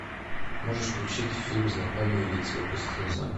можешь включить фильм знакомые лица вопросительный знак